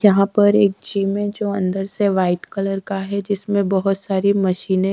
यहां पर एक जिम है जो अंदर से वाइट कलर का है जिसमें बहुत सारी मशीनें --